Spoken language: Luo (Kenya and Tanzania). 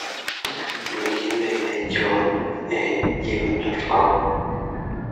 Ndiki imel ne John e gmail.com.